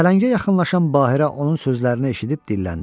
Pələngə yaxınlaşan Bahirə onun sözlərini eşidib dilləndi.